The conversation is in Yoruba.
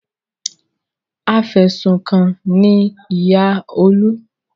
Afẹ̀sùnkanni ni ìyá Olú.